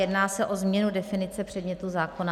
Jedná se o změnu definice předmětu zákona.